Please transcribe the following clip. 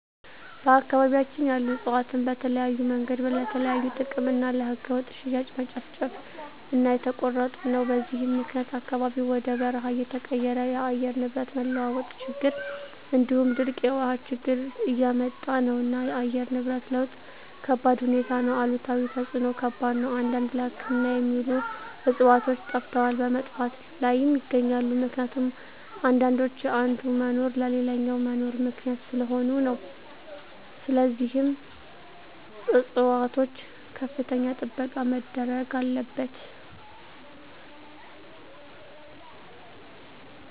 በአካባቢያቸን ያሉ እፅዋትን በተለያዮ መንገድ ለተለያዩ ጥቅም እና ለህገወጥ ሽያጭ መጨፍጨፉ እና እየተቆረጡ ነው በዚህም ምክኒያት አካባቢው ወደ በርሃ እየተቀየረ የአየር ንብረት መለዋወጥ ችግር እንዲሁም ድርቅ የውሀ ችግር እያመጣ ነው እና የአየር ንብረት ለውጥ ከባድሁኔታ ነው አሉታዊ ተፅዕኖው ከባድ ነው አንዳንድ ለህክምና የሚውሉ ዕፅዋቶች ጠፈተዋል በመጥፋት ላይም ይገኛሉ ምክኒቱም አንዳንዶች የአንዱ መኖር ለሌላኛው መኖር ምክኒያት ሰለሆኑ ነው ስለዚህም ፅፅዋቶች ከፍተኛ ጥበቃ መደረግ አለበት።